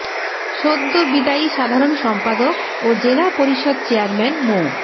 সদ্য বিদায়ী সাধারণ সম্পাদক ও জেলা পরিষদ চেয়ারম্যান মো